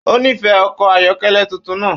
Ó nífẹ̀ẹ́ ọkọ̀ ayọ́kẹ́lẹ́ tuntun náà